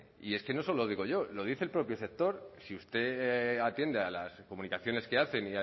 y es que no solo lo digo yo lo dice el propio sector si usted atiende a las comunicaciones que hacen